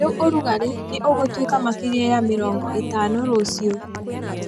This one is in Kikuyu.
Riu urugari ni ũgũtuĩka makeria ya mĩrongo ĩtano rucio